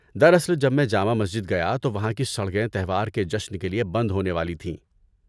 دراصل، جب میں جامع مسجد گیا تو وہاں کی سڑکیں تہوار کے جشن کے لیے بند ہونے والی تھیں۔